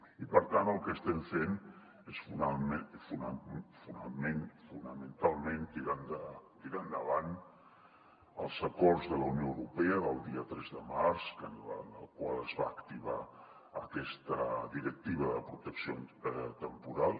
i per tant el que estem fent és fonamentalment tirar endavant els acords de la unió europea del dia tres de març en els quals es va activar aquesta directiva de pro·tecció temporal